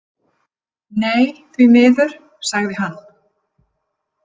Nei, því miður, sagði hann.